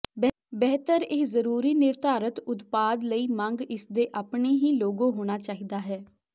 ਬਿਹਤਰ ਇਹ ਜ਼ਰੂਰੀ ਨਿਰਧਾਰਤ ਉਤਪਾਦ ਲਈ ਮੰਗ ਇਸ ਦੇ ਆਪਣੇ ਹੀ ਲੋਗੋ ਹੋਣਾ ਚਾਹੀਦਾ ਹੈ